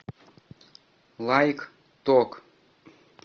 лайк ток